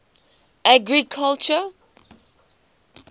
agriculture